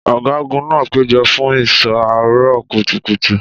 Ọ̀gágun náà péjọ fún ìṣọ́ àárọ̀ kùtùkùtù.